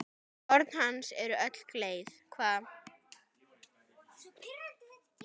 Horn hans eru öll gleið.